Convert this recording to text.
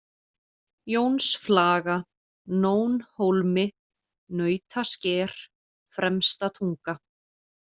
Jónsflaga, Nónhólmi, Nautasker, Fremstatunga